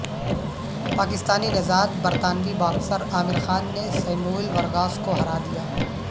پاکستانی نژاد برطانوی باکسر عامر خان نے سیموئیل ورگاس کو ہرا دیا